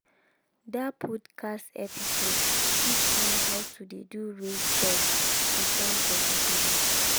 that podcast episode teach me to how to dey do raised beds to farm vegetable.